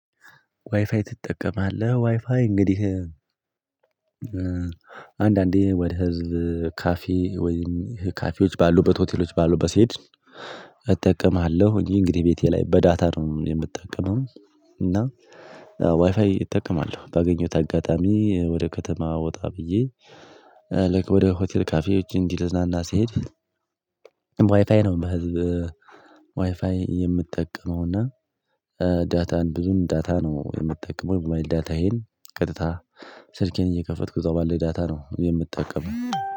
ዋይፋይ ትጠቀማለህ? ዋይፋይ እንግዲህ አንዳንዴ ወደ ህዝብ ካፌ ወይም ካፌዎች ባሉበት ሆቴሎች ባሉበት ስሄድ እጠቀማለሁ እንግዲህ ቤቴ ላይ በዳታ ነው የምትጠቀመው እና ዋይፋይ እጠቀማለሁ ባገኘሁት አጋጣሚ ወደ ከተማ ወጣ ብዬ ልክ ወደ ሆቴል ካፌዎች እንዲህ ልዝናና ስሄድ ዋይፋይ ነው በህዝብ ዋይፋይ የምትጠቀመው እና ዳታን ብዙም ዳታ ነው የምትጠቀመው የሞባይል ዳታዬን ቀጥታ ስልኬን እየከፈትኩት እዚያው ባለኝ ዳታ ነው የምትጠቀመው